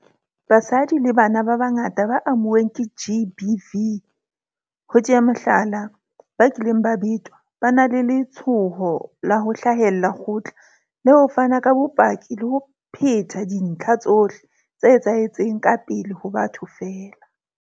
Basadi le bana ba bangata ba amuweng ke GBV, ho tea mohlala, ba kileng ba betwa, ba na le letshoho la ho hlahella kgotla le ho fana ka bopaki le ho phetha dintlha tsohle tse etsahetseng ka pele ho batho feela.